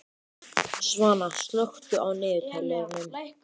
Svana, slökktu á niðurteljaranum.